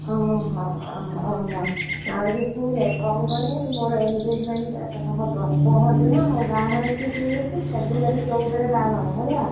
ଓହୋ ଆଉ ଯୋଉ ଶୁଣ କଣ କହନି ମୋର engagement ହବ।